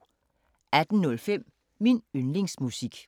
18:05: Min yndlingsmusik